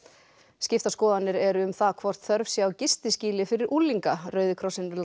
skiptar skoðanir eru um það hvort þörf sé á gistiskýli fyrir unglinga rauði krossinn